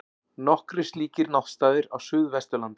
Nokkrir slíkir náttstaðir eru á Suðvesturlandi.